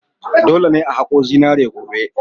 Dole ne a haƙo zinari gobe!